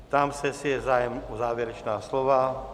Ptám se, jestli je zájem o závěrečná slova.